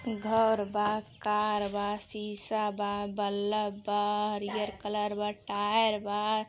घर बा कार बा सीसा बा बलब बल्ब बा हरियर कलर बा टायर बा।